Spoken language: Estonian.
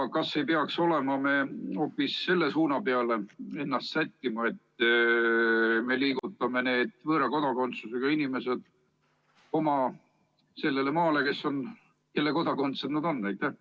Ja kas ei peaks me hoopis selle suuna peale ennast sättima, et liigutame need võõra kodakondsusega inimesed sellele maale, mille kodakondsed nad on?